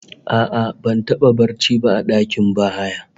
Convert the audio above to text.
A'a, ban taba yin barci ba a dakin bahaya